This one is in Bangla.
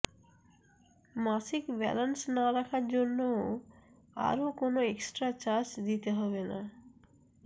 মাসিক ব্যালান্স না রাখার জন্যও আর কোনও এক্সট্রা চার্জ দিতে হবে না